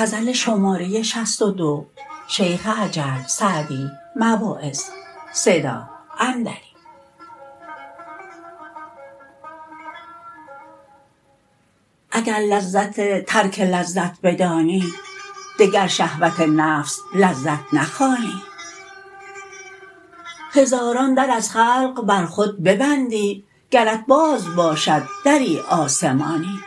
اگر لذت ترک لذت بدانی دگر شهوت نفس لذت نخوانی هزاران در از خلق بر خود ببندی گرت باز باشد دری آسمانی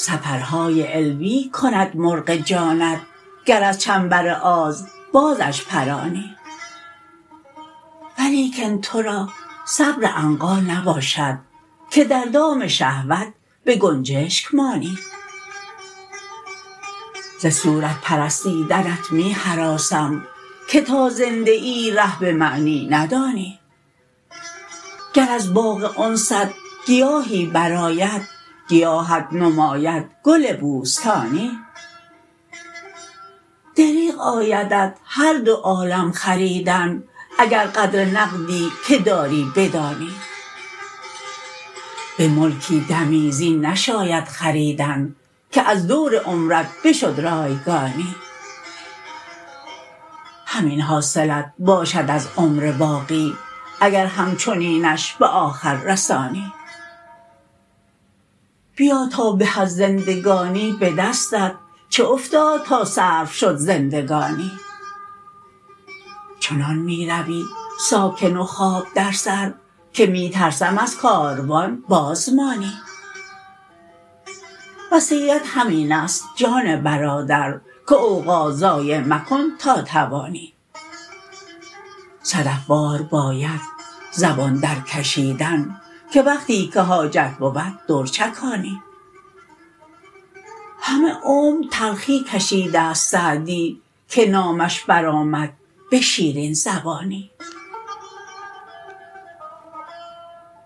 سفرهای علوی کند مرغ جانت گر از چنبر آز بازش پرانی ولیکن تو را صبر عنقا نباشد که در دام شهوت به گنجشک مانی ز صورت پرستیدنت می هراسم که تا زنده ای ره به معنی ندانی گر از باغ انست گیاهی برآید گیاهت نماید گل بوستانی دریغ آیدت هر دو عالم خریدن اگر قدر نقدی که داری بدانی به ملکی دمی زین نشاید خریدن که از دور عمرت بشد رایگانی همین حاصلت باشد از عمر باقی اگر همچنینش به آخر رسانی بیا تا به از زندگانی به دستت چه افتاد تا صرف شد زندگانی چنان می روی ساکن و خواب در سر که می ترسم از کاروان باز مانی وصیت همین است جان برادر که اوقات ضایع مکن تا توانی صدف وار باید زبان درکشیدن که وقتی که حاجت بود در چکانی همه عمر تلخی کشیده ست سعدی که نامش برآمد به شیرین زبانی